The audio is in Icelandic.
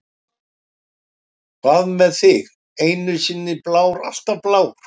Hvað með þig, einu sinni blár, alltaf blár?